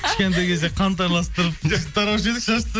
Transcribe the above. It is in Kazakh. кішкентай кезде қант араластырып тараушы едік шашты